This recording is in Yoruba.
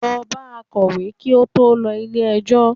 Lọ bá akọ̀wé kí ó tó lọ ilé ẹjọ́!